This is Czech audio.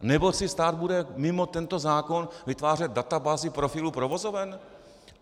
Nebo si stát bude mimo tento zákon vytvářet databázi profilů provozoven?